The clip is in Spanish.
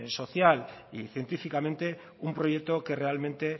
social y científicamente un proyecto que realmente